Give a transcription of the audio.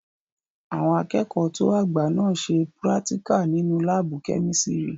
Àwọn akẹ́kọ̀ọ́ tó àgbà náà n ṣe púrátíkà nínu láàbù-kẹ́mísírì